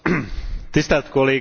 Tisztelt kollégák!